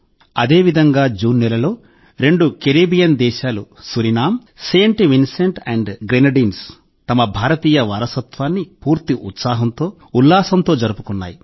అదేవిధంగా జూన్ నెలలో రెండు కరేబియన్ దేశాలు Suriname Saint Vincent and Grenadines తమ భారతీయ వారసత్వాన్ని పూర్తి ఉత్సాహంతో ఉల్లాసంతో జరుపుకున్నాయి